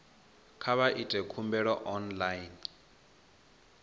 kha vha ite khumbelo online